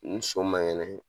Ni so man kɛnɛ